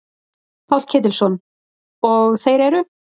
Páll Ketilsson: Og þeir eru?